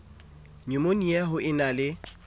nyumonia ho e na le